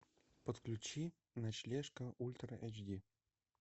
подключи ночлежка ультра эйч ди